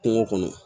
Kungo kɔnɔ